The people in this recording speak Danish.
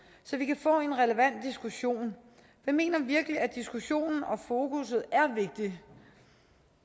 så vi kan få en relevant diskussion jeg mener virkelig at diskussionen og fokusset er vigtigt